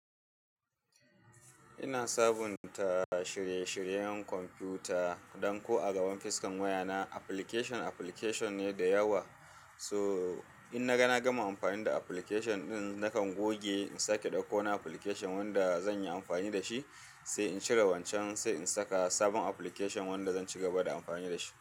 Ina sabunta shirye-shiryen kwamfuta don ko a gaban fuskar wayana application, application ne da yawa. So in naga nagama amfani da application ɗin, nakan goge in sake ɗauko wani application wanda zan yi amfani da shi, sai in cire wancan, sai in saka sabon application wanda zan ci gaba da amfani da shi.